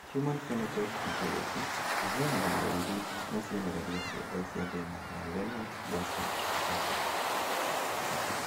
Human Phenotype Ontology ĩheanaga ndariri na cionereria ciothe cia thĩna wa Lennox Gastaut syndrome